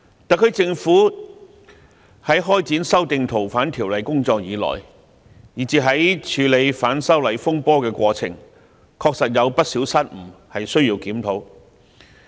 特區政府自開展修訂《逃犯條例》的工作以來，以至在處理反修例風波的過程中，確實有不少失誤，需要檢討。